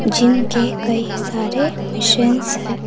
Gym के कई सारे मशीन्स हैं।